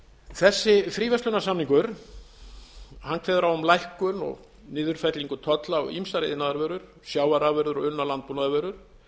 þessi fríverslunarsamningur kveður á um lækkun og niðurfellingu tolla á ýmsar iðnaðarvörur sjávarafurðir og unnar landbúnaðarvörur